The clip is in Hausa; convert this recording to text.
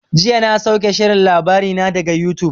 Jiya na sauke shirin labarina daga yutub.